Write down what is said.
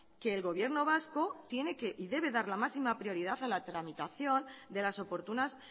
que el gobierno vasco tiene y debe dar la máxima prioridad a la tramitación de las oportunas